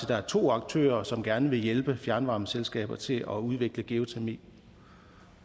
der er to aktører som gerne vil hjælpe fjernvarmeselskaber til at udvikle geotermi